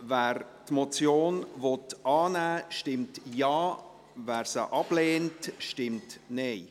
Wer die Motion annehmen will, stimmt Ja, wer diese ablehnt, stimmt Nein.